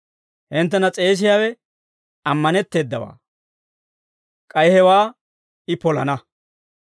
Hinttena s'eesiyaawe ammanetteedawaa; k'ay hewaa I polana.